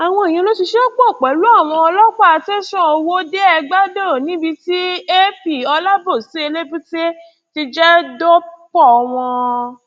àwọn ìyẹn ló ṣiṣẹ pọ pẹlú àwọn ọlọpàá tẹsán ọwọdeẹgbàdo níbi tí ap olabosi elébúté ti jẹ dọpọ wọn